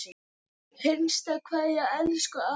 HINSTA KVEÐJA Elsku afi minn.